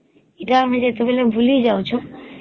ଇଟା ତା ମିଳେ ବୋଲେ ବୁଲି ଯାଉଛୁ